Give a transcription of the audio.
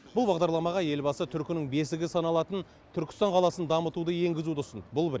бұл бағдарламаға елбасы түркінің бесігі саналатын түркістан қаласын дамытуды енгізуді ұсынды бұл бір